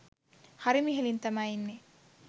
හරිම ඉහලින් තමයි ඉන්නේ.